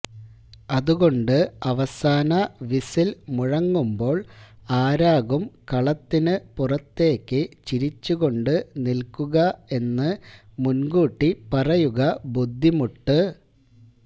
അതുകൊണ്ട് അവസാന വിസില് മുഴങ്ങുമ്പോള് ആരാകും കളത്തിനു പുറത്തേക്ക് ചിരിച്ചുകൊണ്ട് നില്ക്കുക എന്ന് മുന്കൂട്ടി പറയുക ബുദ്ധിമുട്ട്